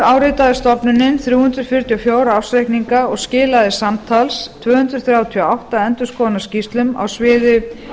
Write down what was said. áritaði stofnunin þrjú hundruð fjörutíu og fjögur ársreikninga og skilaði samtals tvö hundruð þrjátíu og átta endurskoðunarskýrslum á sviði